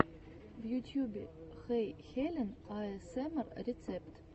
в ютьюбе хэйхелен аэсэмэр рецепт